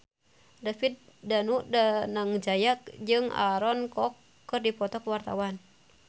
David Danu Danangjaya jeung Aaron Kwok keur dipoto ku wartawan